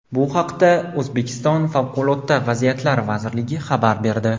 Bu haqda O‘zbekiston Favqulodda vaziyatlar vazirligi xabar berdi .